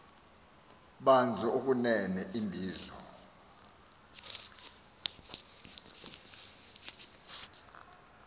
banzi okunene imbizo